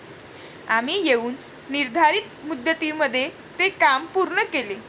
आम्ही येऊन निर्धारित मुदतीमध्ये ते काम पूर्ण केले.